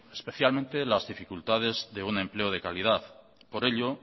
especialmente las dificultades de un empleo de calidad por ello